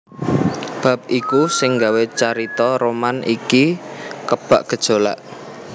Bab iku sing gawé carita roman iki kebak gejolak